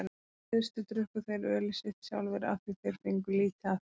Í fyrstu drukku þeir ölið sitt sjálfir af því þeir fengu lítið af því.